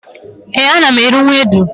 éè, ana m eri ewedu